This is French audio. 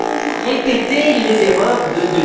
Allons nous répéter les erreurs de